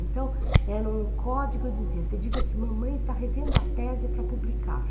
Então, era um código, eu dizia, você diga que mamãe está revendo a tese para publicar.